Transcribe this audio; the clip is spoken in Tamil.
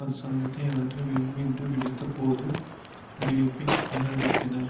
அரசாங்கத்தை அகற்ற வேண்டும் என்று விடுத்த போது அறிவிப்பை நிராகரித்தனர்